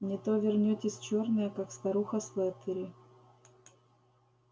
не то вернётесь чёрная как старуха слэттери